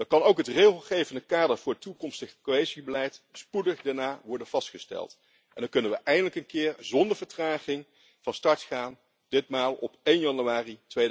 Dan kan ook het regelgevende kader voor toekomstig cohesiebeleid spoedig daarna worden vastgesteld en dan kunnen we eindelijk een keer zonder vertraging van start gaan, ditmaal op 1 januari